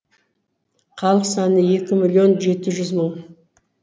халық саны екі миллион жеті жүз мың